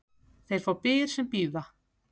Þeir fá byr sem bíða.